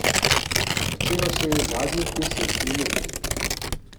Začelo se je zadnjih deset minut.